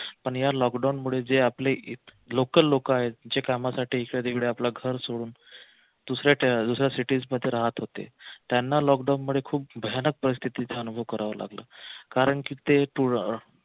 पण या लॉकडाऊन मुळे जे आपले local लोक आहेत जे कामासाठी आपलं घर सोडून दुसऱ्या cities मध्ये राहत होते त्याना लॉकडाऊन मुळे खूप भयानक परिस्थितीचा अनुभव करावा लागला कारंकी ते